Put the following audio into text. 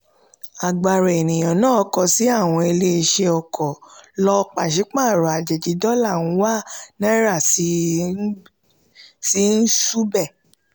agbara eniyan naa kọsi awọn ile-iṣẹ ọkọ lọ paṣipaarọ ajeji dọla ń wa naira sì ń ṣubẹ.